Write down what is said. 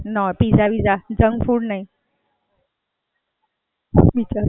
અચ્છા, બનાવતા આવડતું હશે કે નથી આવડતું બનાવતા?